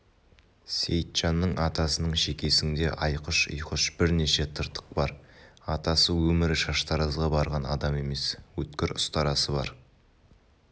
сейітжанның атасының шекесіңде айқұш-ұйқыш бірнеше тыртық бар атасы өмірі шаштаразға барған адам емес өткір ұстарасы бар